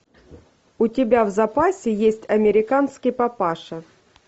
у тебя в запасе есть американский папаша